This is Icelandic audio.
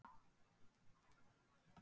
Höskuldur: Má kalla þetta óbein mótmæli?